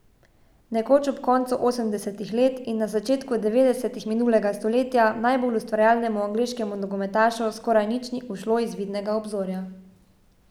Nekoč ob koncu osemdesetih let in na začetku devetdesetih minulega stoletja najbolj ustvarjalnemu angleškemu nogometašu skoraj nič ni ušlo iz vidnega obzorja.